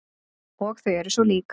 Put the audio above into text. Og þau eru svo lík.